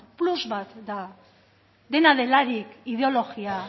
plus bat da dena delarik ideologia